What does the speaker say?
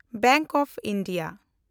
bank of India